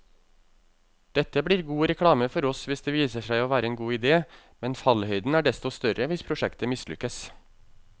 Dette blir god reklame for oss hvis det viser seg å være en god idé, men fallhøyden er desto større hvis prosjektet mislykkes.